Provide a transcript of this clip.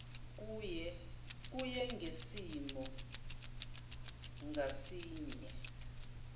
kuye ngesimo ngasinye